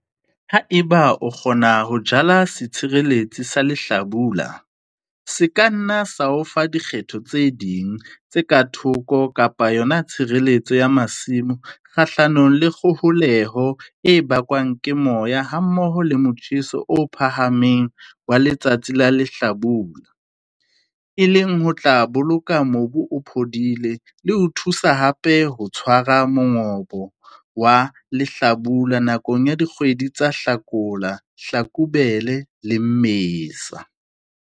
Ha eba o kgona ho jala setshireletsi sa lehlabula, se ka nna sa o fa dikgetho tse ding tse ka thoko kapa yona tshireletso ya masimo kgahlanong le kgoholeho e bakwang ke moya hammoho le motjheso o phahameng wa letsatsi la lehlabula, e leng ho tla boloka mobu o phodile le ho thusa hape ho tshwara mongobo wa lehlabula nakong ya dikgwedi tsa Hlakola, Hlakubele le Mmesa.